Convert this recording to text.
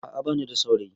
A'a ba ni da saurayi